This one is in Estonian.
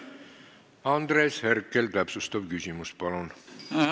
Andres Herkel, täpsustav küsimus, palun!